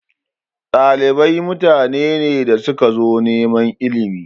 Ɗalibai mutane ne da suka zo neman ilimi.